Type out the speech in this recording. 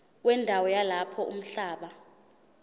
wendawo yalapho umhlaba